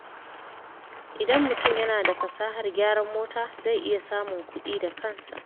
Idan mutum yana da fasahar gyaran mota, zai iya samun kuɗi da kansa.